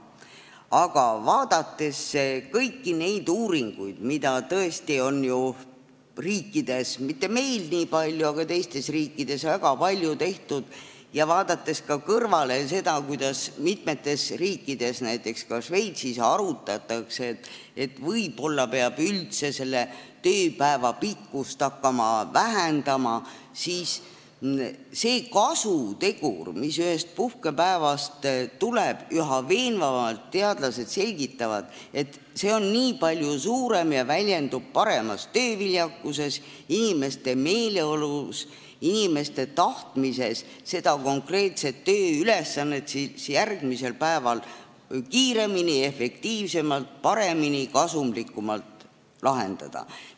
Aga vaadates kõiki neid uuringuid, mida tõesti on teistes riikides väga palju tehtud – meil mitte nii palju –, ja vaadates ka seda, kuidas mitmes riigis, näiteks Šveitsis, arutatakse, et võib-olla peab üldse tööpäeva pikkust hakkama lühendama, siis selgub, et teadlased üha veenvamalt selgitavad, et see kasutegur, mis ühest puhkepäevast tuleb, on palju suurem ja see väljendub suuremas tööviljakuses, inimeste paremas meeleolus, nende tahtmises konkreetset tööülesannet järgmisel päeval kiiremini, efektiivsemalt, paremini ja kasumlikumalt lahendada.